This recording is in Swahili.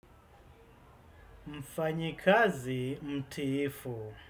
Mfanyikazi mtiifu.